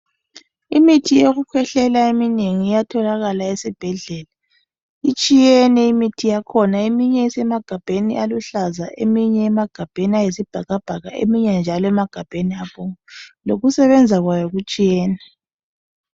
Imithi yokukhwehlela eminengi iyatholakala esibhedlela itshiyene imithi yakhona eminye isemagabheni aluhlaza eminye emagabheni ayisibhakabhaka eminye njalo isemagabheni abomvu lokusebenza kwayo kutshiyene.